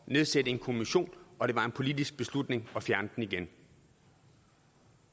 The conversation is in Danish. nedsætte en kommission og det var en politisk beslutning at fjerne den igen